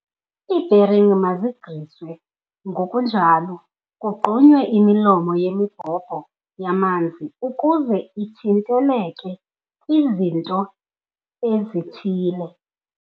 Iibheringi mazigriswe ngokunjalo kugqunywe imilomo yemibhobho yamanzi ukuze ithinteleke kwizinto ezithile.